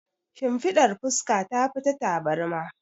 shinfiɗar fuska ta fi ta tabarma